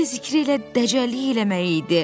Fikri zikri elə dəcəllik eləmək idi.